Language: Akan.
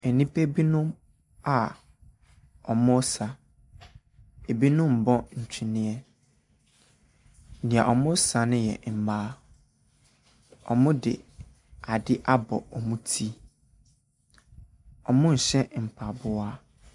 Nnipa binom a wɔresa, binom rebɔ ntweneɛ, wɔn a wɔresa ne yɛ mmaa, wɔde adeɛ abɔ wɔn ti, wɔnhyɛ mpaboa.